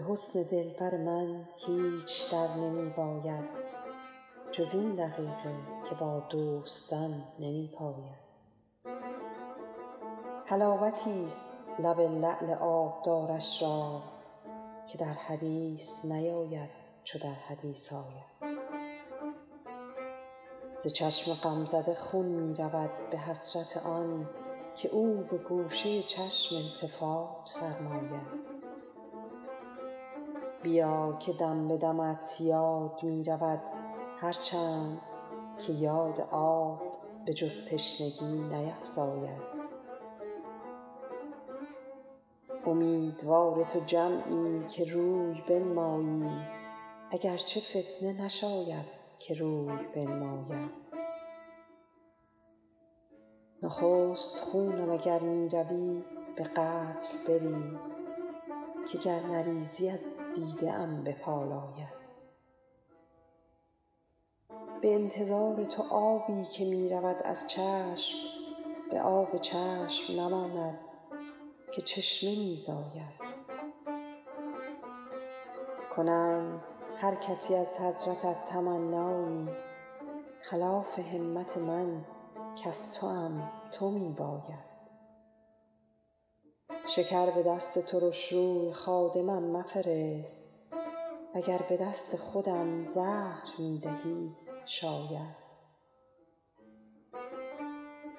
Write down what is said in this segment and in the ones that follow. به حسن دلبر من هیچ در نمی باید جز این دقیقه که با دوستان نمی پاید حلاوتیست لب لعل آبدارش را که در حدیث نیاید چو در حدیث آید ز چشم غمزده خون می رود به حسرت آن که او به گوشه چشم التفات فرماید بیا که دم به دمت یاد می رود هر چند که یاد آب به جز تشنگی نیفزاید امیدوار تو جمعی که روی بنمایی اگر چه فتنه نشاید که روی بنماید نخست خونم اگر می روی به قتل بریز که گر نریزی از دیده ام بپالاید به انتظار تو آبی که می رود از چشم به آب چشم نماند که چشمه می زاید کنند هر کسی از حضرتت تمنایی خلاف همت من کز توام تو می باید شکر به دست ترش روی خادمم مفرست و گر به دست خودم زهر می دهی شاید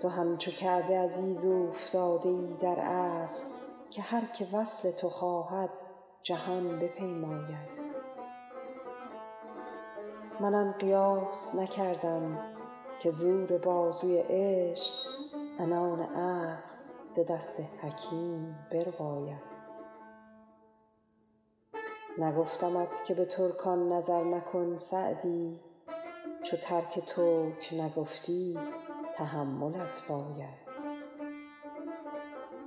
تو همچو کعبه عزیز اوفتاده ای در اصل که هر که وصل تو خواهد جهان بپیماید من آن قیاس نکردم که زور بازوی عشق عنان عقل ز دست حکیم برباید نگفتمت که به ترکان نظر مکن سعدی چو ترک ترک نگفتی تحملت باید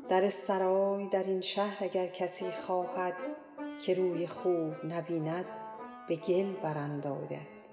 در سرای در این شهر اگر کسی خواهد که روی خوب نبیند به گل برانداید